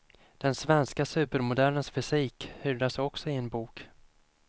Den svenske supermodellens fysik hyllas också i en bok.